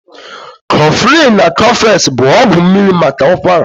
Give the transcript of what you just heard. Koflin na Kofex bụ ọgwụ mmiri maka ụkwara